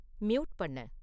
mute பண்ணு